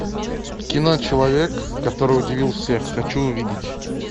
кино человек который удивил всех хочу увидеть